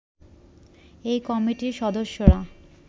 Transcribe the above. এই কমিটির সদস্যরা